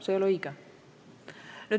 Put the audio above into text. See ei ole õige.